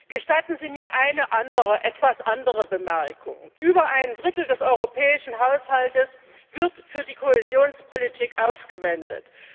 Gestatten Sie mir eine etwas andere Bemerkung Über ein Drittel des europäischen Haushalts wird für die Kohäsionspolitik aufgewendet.